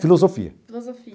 Filosofia.